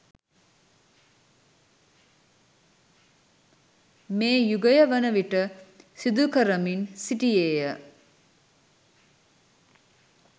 මේ යුගය වනවිට සිදුකරමින් සිටියේය.